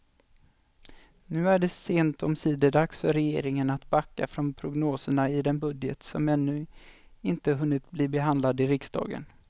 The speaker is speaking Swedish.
Nu är det sent omsider dags för regeringen att backa från prognoserna i den budget som ännu inte hunnit bli behandlad i riksdagen.